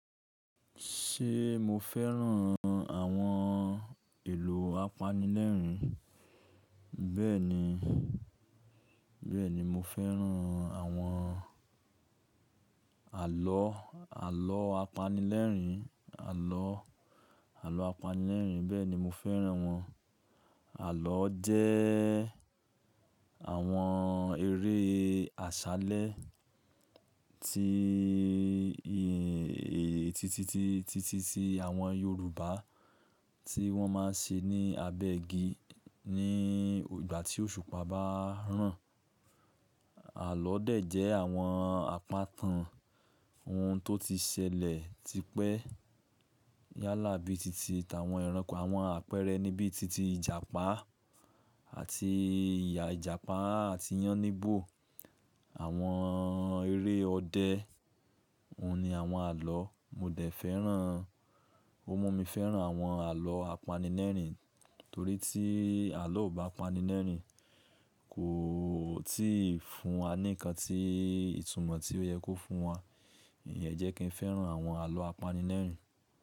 Ṣé mo fẹ́ràn àwọn èlò apanilẹ́rìn? Bẹ́ẹ̀ni, bẹ́ẹ̀ni mo fẹ́ràn àwọn àlọ́, àlọ́ apanilẹ́rìn, àlọ́, àlọ́ apanilẹ́rìn. Bẹ́ẹ̀ni mo fẹ́ràn wọn. Àlọ́ jẹ́ àwọn eré àṣálẹ́ tí, èyí titi, ti ti, ti ti àwọn Yorùbá tí wọ́n máa ń ṣe ní abẹ́ igi ní ìgbà tí òṣùpá bá ń ràn. Àlọ́ dẹ̀ jẹ́ àwọn àpà kàn ohun tó ti ṣẹlẹ̀ tipẹ́ yálà bíi titi, tàwọn ẹranko, àwọn àpẹẹrẹ ni bíi titi Ìjàpá àti ìyá Ìjàpá àti Yáníbo. Àwọn eré ọdẹ, òun ni àwọn àlọ́. Mo dẹ̀ fẹ́ràn, ó mú mi fẹ́ràn àwọn àlọ́ apanilẹ́rìn torí tí àlọ́ ò bá pani lẹ́rìn kò tíì fún wa nìkan tí ìtumọ̀ tí ó yẹ kó fún wa. Ìyẹn jẹ́ kí n fẹ́ràn àwọn àlọ́ apanilẹ́rìn.